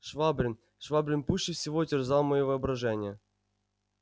швабрин швабрин пуще всего терзал моё воображение